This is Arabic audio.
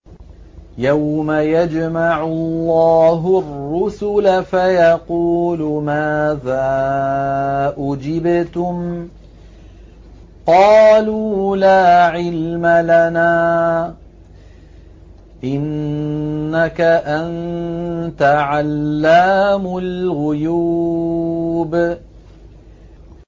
۞ يَوْمَ يَجْمَعُ اللَّهُ الرُّسُلَ فَيَقُولُ مَاذَا أُجِبْتُمْ ۖ قَالُوا لَا عِلْمَ لَنَا ۖ إِنَّكَ أَنتَ عَلَّامُ الْغُيُوبِ